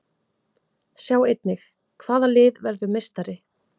Sjá einnig: Hvaða lið verður meistari?